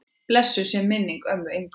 Blessuð sé minning ömmu Ingu.